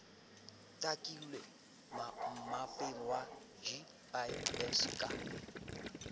takilwe mmapeng wa gis ka